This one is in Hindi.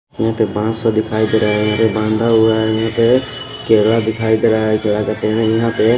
यहां पे पांच सौ दिखाई दे रहे हैं बांधा हुआ है यहां पे केला दिखाई दे रहा है यहां पे --